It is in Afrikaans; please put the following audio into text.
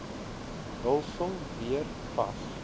hulsel weer vas